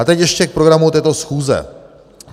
A teď ještě k programu této schůze.